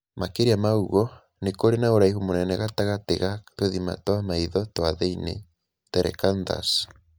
Makĩria ma ũguo, nĩ kũrĩ na ũraihu mũnene gatagatĩ ga tũthima twa maitho twa thĩinĩ (telecanthus).